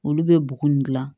Olu bɛ bugun nin dilan